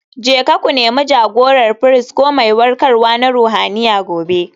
Jeka ku Nemi jagorar firist ko mai warkarwa na ruhaniya gobe.